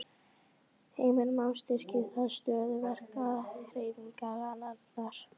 Heimir Már: Styrkir það stöðu verkalýðshreyfingarinnar?